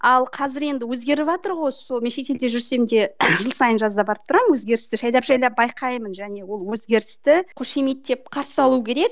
ал қазір енді өзгеріватыр ғой сол мен шетелде жүрсем де жыл сайын жазда барып тұрамын өзгерісті жайлап жайлап байқаймын және ол өзгерісті қошеметтеп қарсы алу керек